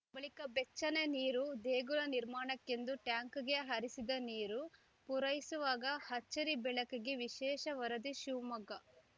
ಬಳಿಕ ಬೆಚ್ಚನೆ ನೀರು ದೇಗುಲ ನಿರ್ಮಾಣಕ್ಕೆಂದು ಟ್ಯಾಂಕ್‌ಗೆ ಹರಿಸಿದ ನೀರು ಪೂರೈಸುವಾಗ ಅಚ್ಚರಿ ಬೆಳಕಿಗೆ ವಿಶೇಷ ವರದಿ ಶಿವಮೊಗ್ಗ